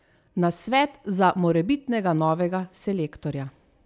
Nasvet za morebitnega novega selektorja?